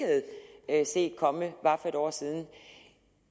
havde set komme bare for et år siden